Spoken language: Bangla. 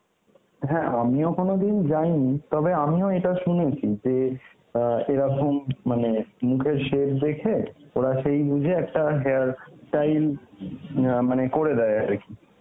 হ্যাঁ আমিও কোন দিন যায়নি, তবে আমিও এটা শুনেছি যে অ্যাঁ এরকম মানে মুখের shape দেখে ওরা সেই বুঝে একটা hair style অ্যাঁ মানে করে দেয় আর কি.